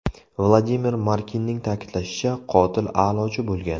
Vladimir Markinning ta’kidlashicha, qotil a’lochi bo‘lgan.